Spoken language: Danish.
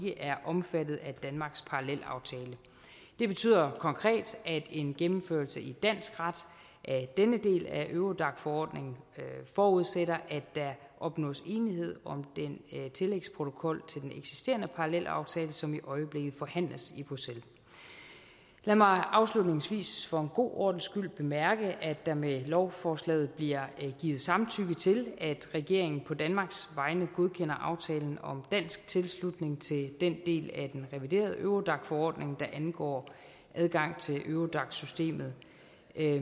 er omfattet af danmarks parallelaftale det betyder konkret at en gennemførelse i dansk ret af denne del af eurodac forordningen forudsætter at der opnås enighed om den tillægsprotokol til den eksisterende parallelaftale som i øjeblikket forhandles i bruxelles lad mig afslutningsvis for en god ordens skyld bemærke at der med lovforslaget bliver givet samtykke til at regeringen på danmarks vegne godkender aftalen om dansk tilslutning til den del af den reviderede eurodac forordning der angår adgang til eurodac systemet